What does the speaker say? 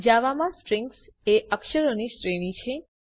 જાવામાં સ્ટ્રિંગ એ અક્ષરોની શ્રેણી છે